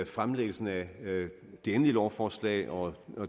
fremsættelsen af det endelige lovforslag og